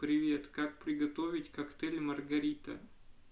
привет как приготовить коктейль маргарита